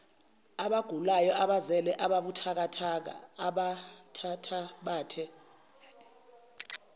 abagulayo abazele abathathabathe